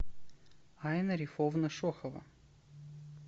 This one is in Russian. айна рифовна шохова